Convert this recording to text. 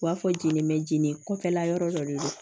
U b'a fɔ jeli bɛ jeni kɔfɛla yɔrɔ dɔ de don